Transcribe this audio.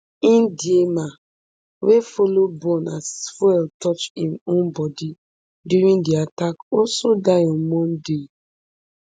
ndiema wey follow burn as fuel touch im own bodi during di attack also die on monday